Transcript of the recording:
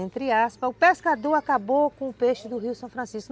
Entre aspas, o pescador acabou com o peixe do rio São Francisco.